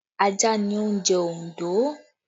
Ajá ni oúnjẹ Ondo